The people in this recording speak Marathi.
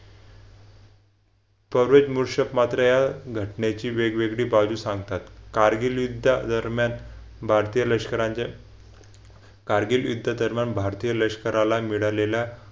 मात्र या घटनेची वेगळी बाजू सांगतात कारगिल युद्धादरम्यान भारतीय लष्कर यांच्या कारगिल युद्धादरम्यान भारतीय लष्कराला मिळालेल्या